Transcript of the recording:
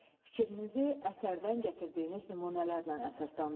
Fikrinizi əsərdən gətirdiyiniz nümunələrlə əsaslandırın.